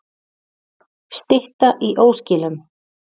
Stytta í óskilum